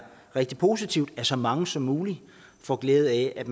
rigtig positivt at så mange som muligt får glæde af at